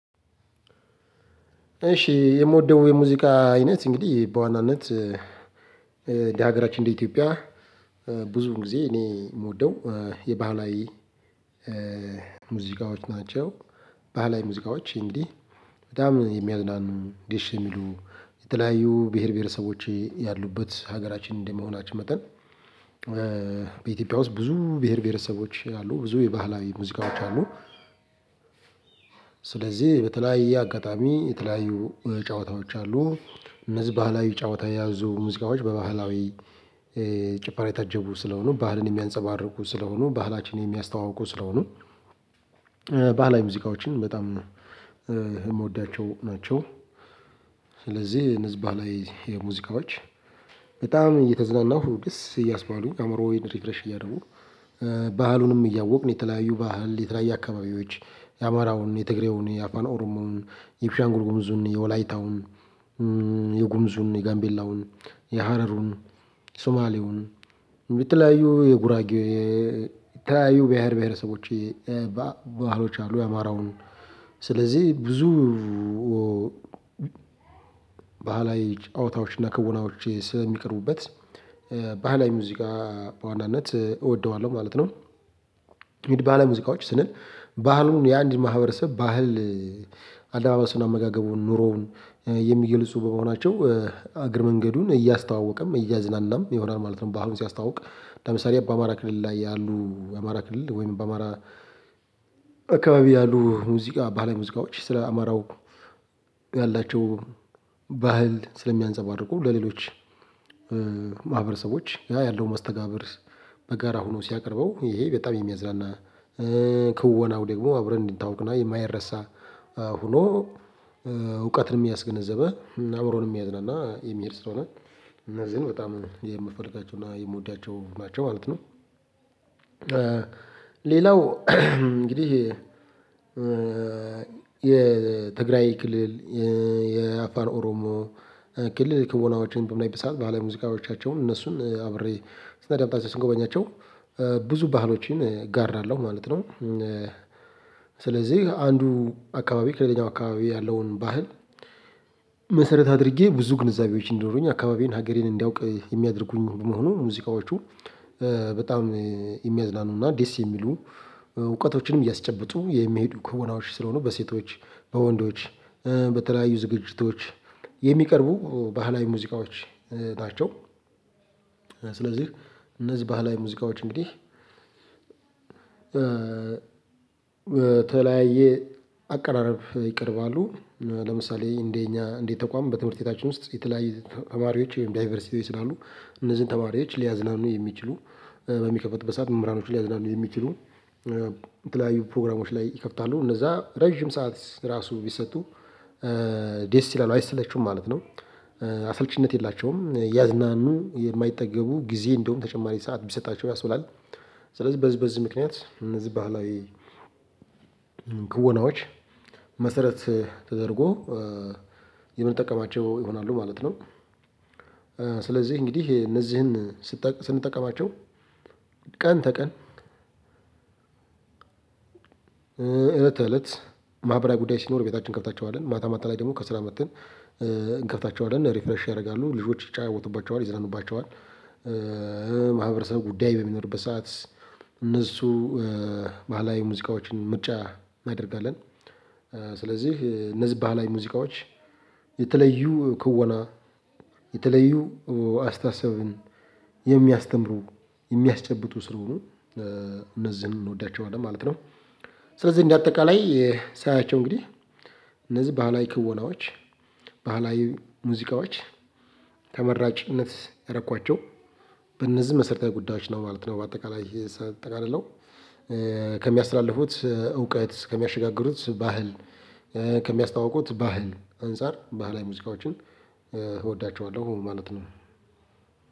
እሺ የምወደው የሙዚቃ አይነት እንግዲህ በዋናነት እንደ ሀገራችን እንደ ኢትዮጵያ ብዙ ጊዜ እኔ የምወደው የባህላዊ ሙዚቃዎች ናቸው። ባህላዊ ሙዚቃዎች እንግዲህ በጣም የሚያዝናኑ ደስ የሚሉ የተለያዩ ብሄር ብሄረሰቦች ያሉበት ሀገራችን እንደመሆናችን መጠን። በኢትዮጵያ ውስጥ ብዙ ብሄር ብሄረሰቦች አሉ ብዙ የባህላዊ ሙዚቃዎች አሉ። ስለዚህ በተለያየ አጋጣሚ የተለያዩ ጨዋታዎች አሉ። እነዚህ ባህላዊ ጨዋታ የያዙ ሙዚቃዎች በባህላዊ ጭፈራ የታጀቡ ስለሆኑ ባህልን የሚያንፀባርቁ ስለሆኑ ባህላችንን የሚያስተዋውቁ ስለሆኑ ባህላዊ ሙዚቃዎችን በጣም የምወዳቸው ናቸው። ስለዚህ እነዚህ ባህላዊ ሙዚቃዎች በጣም እየተዝናናሁ ደስ እያስባሉ አእምሮን ሪፍሬሽ እያደረጉ ባህሉንም እያወቅን የተለያዩ ባህል የተለያየ አካባቢዎች የአማራውን የትግሬውን የአፋን ኦሮሞውን የቤንሻንጉል ጉሙዙን የወላይታውን የጉሙዙን የጋምቤላውን የሀረሩን የሱማሌውን የተለያዩ የጉራጌ የተለያዩ ብሄር ብሄረሰቦች ባህሎች አሉ የአማራውን ስለዚህ ብዙ ባህላዊ ጨዋታዎች እና ክውናዎች ስለሚቀርቡበት ባህላዊ ሙዚቃ በዋናነት እወደዋለሁ ማለት ነው። እንግዲህ ሙዚቃዎች ስንል ባህሉን የአንድን ማህበረሰብ ባህል አለባበሱን አመጋገቡን ኑሮውን የሚገልጹ በመሆናቸው እግረ መንገዱን እያስተዋወቀም እያዝናናም ይሆናል ማለት ነው። ባህሉን ሲያስተዋውቅ ለምሳሌ በአማራ ክልል ላይ ያሉ የአማራ ክልል ወይም በአማራ አካባቢ ያሉ ሙዚቃ ባለሙዚቃዎች ስለ አማራው ያላቸው ባህል ስለሚያንፀባርቁ ለሌሎች ማህበረሰቦች ያ ያለውን መስተጋብር በጋራ ሆኖ ሲያቀርበው ይሄ በጣም የሚያዝናና ክወናው ደግሞ አብረን እንድንታውቅና የማይረሳ ሆኖ እውቀትን ያስገነዘበ አብሮንም የሚያዝናና የሚሄድ ስለሆነ እነዚህን በጣም የምፈልጋቸውና የምወዳቸው ናቸው ማለት ነው። ሌላው እንግዲህ የትግራይ ክልል የአፋር ኦሮሞ ክልል ክወናዎችን በምናይበት ሰዓት ባህላዊ ሙዚቃዎቻቸውን እነሱን አብሬ ስናዳምጣቸው ስንጎበኛቸው ብዙ ባህሎችን እጋራለሁ ማለት ነው። ስለዚህ አንዱ አካባቢ ከሌላው አካባቢ ያለውን ባህል መሰረት አድርጌ ብዙ ግንዛቤዎች እንዲኖሩኝ አካባቢዬን ሀገሬን እንዲያውቅ የሚያደርጉኝ መሆኑን ሙዚቃዎቹ በጣም የሚያዝናኑ እና ዴስ የሚሉ እውቀቶችንም እያስጨበጡ የሚሄዱ ክወናዎች ስለሆኑ በሴቶች በወንዶች በተለያዩ ዝግጅቶች የሚቀርቡ ባህላዊ ሙዚቃዎች ናቸው። ስለዚህ እነዚህ ባህላዊ ሙዚቃዎች እንግዲህ በተለያየ አቀራረብ ይቀርባሉ ለምሳሌ እንደኛ እንደ ተቋም በትምህርት ቤታችን ውስጥ የተለያዩ ተማሪዎች ወይም ዳይቨርሲቲ ስላሉ እነዚህን ተማሪዎች ሊያዝናኑ የሚችሉ በሚከፈትበት ሰዓት መምህራኖች ላይ ሊያዝናኑየሚችሉ የተለያዩ ፕሮግራሞች ላይ ይከፍታሉ እነዛ ረጅም ሰዓት ራሱ ቢሰጡ ዴስ ይላሉ አይሰለቹም ማለት ነው። አስልቺነት የላቸውም እያዝናኑ የማይጠገቡ ጊዜ እንደውም ተጨማሪ ሰዓት ቢሰጣቸው ያስበላል ስለዚህ በዚህ በዚህ ምክንያት እነዚህ ባህላዊ ክወናዎች መሰረት ተደርጎ የምንጠቀማቸው ይሆናሉ ማለት ነው። ስለዚህ እንግዲህ እነዚህን ስንጠቀማቸው ቀን ተቀን እለት ተእለት ማህበራዊ ጉዳይ ሲኖር ቤታችን እንከፍታቸዋለን ማታ ማታ ላይ ደግሞ ከስራ መጥተን እንከፍታቸዋለን ሪፍረሽ ያደርጋሉ ልጆች ይጫወቱባቸዋል ይዘናኑባቸዋል ማህበረሰብ ጉዳይ በሚኖርበት ሰዓት እነሱ ባህላዊ ሙዚቃዎችን ምርጫ እናደርጋለን። ስለዚህ እነዚህ ባህላዊ ሙዚቃዎች የተለዩ ክወና የተለዩ አስተሳሰብን የሚያስተምሩ የሚያስጨብጡ ስለሆኑ እነዚህን እንወዳቸዋለን ማለት ነው። ስለዚህ እንደ አጠቃላይ ሳያቸው እንግዲህ እነዚህ ባህላዊ ክወናዎች ባህላዊ ሙዚቃዎች ተመራጭነት ያረኳቸው በእነዚህ መሰረታዊ ጉዳዮች ነው ማለት ነው። በአጠቃላይ ሳጠቃለልው ከሚያስተላልፉት እውቀት ከሚያሸጋግሩት ባህል ከሚያስታወውቁት ባህል አንፃር ባህላዊ ሙዚቃዎችን እወዳቸዋለሁ ማለት ነው።